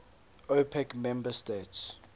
opec member states